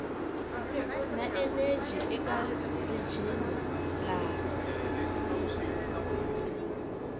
na eneji eka rijini laha